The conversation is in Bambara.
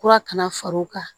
Kura kana far'o kan